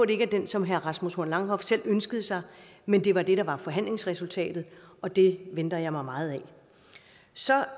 det ikke er den som herre rasmus horn langhoff selv ønskede sig men det var det der var forhandlingsresultatet og det venter jeg mig meget af så